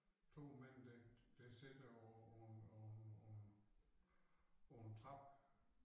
2 mænd der der sidder på på på en på en på en trappe